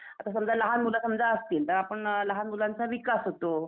आता समजा लहान मुलं समजा असतील तर आपण लहान मुलांचा विकास होतो.